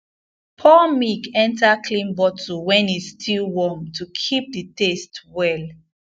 pour milk enter clean bottle when e still warm to keep the taste well